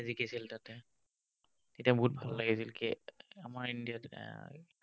জিকিছিল তাতে। তেতিয়া বহুত ভাল লাগিছিল, আমাৰ ইণ্ডিয়াত এৰ